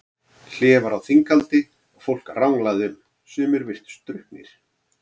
Hlé var á þinghaldi og fólk ranglaði um, sumir virtust drukknir.